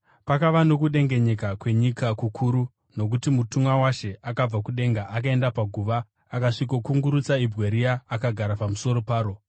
Pakava nokudengenyeka kwenyika kukuru nokuti mutumwa waShe akabva kudenga akaenda paguva akasvikokungurutsa ibwe riya akagara pamusoro paro.